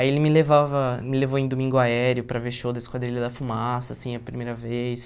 Aí ele me levava me levou em domingo aéreo para ver show da Esquadrilha da Fumaça, assim, a primeira vez.